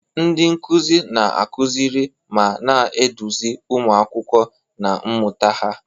Ndị nkuzi na-akụziri ma na-eduzi ụmụ akwụkwọ na mmụta ha.